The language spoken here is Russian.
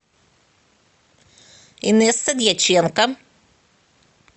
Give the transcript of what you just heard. инесса дьяченко